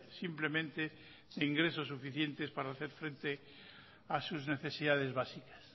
simplemente de ingresos suficientes para hacer frente a sus necesidades básicas